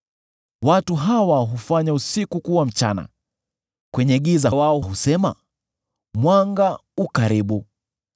Watu hawa hufanya usiku kuwa mchana, kwenye giza wao husema, ‘Mwanga u karibu.’